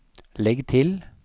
legg til